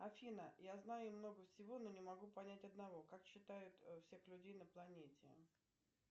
афина я знаю много всего но не могу понять одного как считают всех людей на планете